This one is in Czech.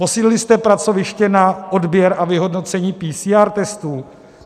Posílili jste pracoviště na odběr a vyhodnocení PCR testů?